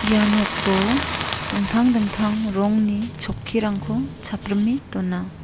ia noko dingtang dingtang rongni chokkirangko chaprime dona.